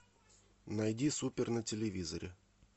найди супер на телевизоре